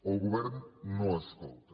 el govern no escolta